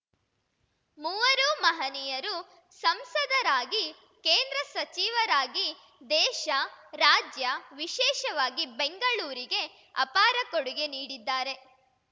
ಮೂವರೂ ಮಹನೀಯರು ಸಂಸದರಾಗಿ ಕೇಂದ್ರ ಸಚಿವರಾಗಿ ದೇಶ ರಾಜ್ಯ ವಿಶೇಷವಾಗಿ ಬೆಂಗಳೂರಿಗೆ ಅಪಾರ ಕೊಡುಗೆ ನೀಡಿದ್ದಾರೆ